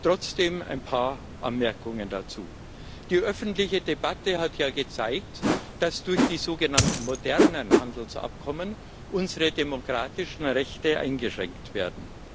Trotzdem ein paar Anmerkungen dazu Die öffentliche Debatte hat ja gezeigt, dass durch die sogenannten modernen Handelsabkommen unsere demokratischen Rechte eingeschränkt werden.